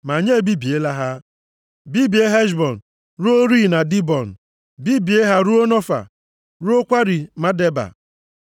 “Ma anyị ebibiela ha, bibie Heshbọn ruo rịị na Dibọn, bibie ha ruo Nofa, ruokwa rịị Medeba.”